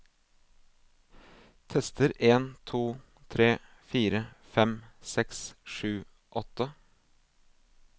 Tester en to tre fire fem seks sju åtte